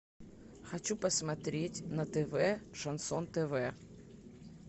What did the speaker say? хочу посмотреть на тв шансон тв